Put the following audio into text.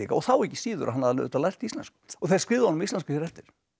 þá ekki síður að hann hafði auðvitað lært íslensku og þeir skrifuðu honum á íslensku hér eftir